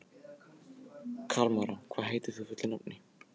Kalmara, hvað heitir þú fullu nafni?